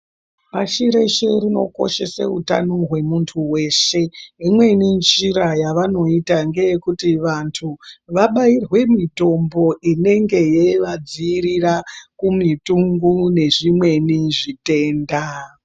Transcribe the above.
Pashi reshe rinokoshese utano hwemuntu weshe imweni njira yavanoita ngeyekuti vantu vabairwe mitombo inenge yeivadzivirura kumutungu nezvimweni zvitenda.